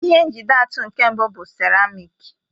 Ihe njide atụ nke mbụ bụ seramiiki.